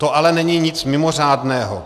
To ale není nic mimořádného.